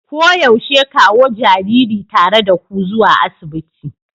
Koyaushe kawo jariri tare da ku zuwa asibiti.